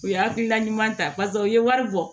U ye hakilina ɲuman ta paseke u ye wari bɔ